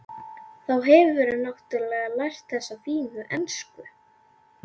Þá hefurðu náttúrlega lært þessa fínu ensku!